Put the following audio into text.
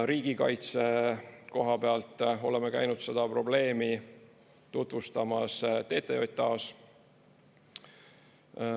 Riigikaitse koha pealt oleme käinud seda probleemi tutvustamas TTJA-s.